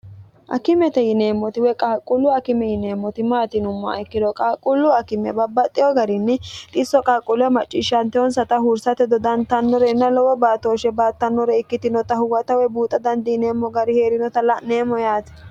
akimete yineemmoti woy qaaqquullu akime yineemmoti maati yinummoha ikkiro qaaqqullu akime babbaxxiyo garinni dhisso qaaquulleho macciishshantehonsata huursate dodantannore inna lowo baatooshshe baattannore ikkitinota huwata woy buuxa dandiineemmo gari hee'rinota la'neemmo yaati